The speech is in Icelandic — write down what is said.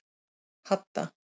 Hadda